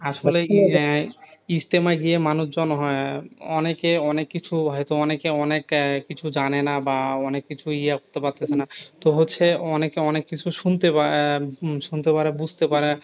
আসলেই আহ ইজতেমায় গিয়ে মানুষজন হয়. অনেকে অনেক কিছু হয়ত অনেকে অনেক কিছু জানে না বা অনেক কিছু ইয়ে করতে পারতেছে না। তো হচ্ছে অনেকে অনেক কিছু শুনতে আহ শুনতে পারে বুঝতে পারে।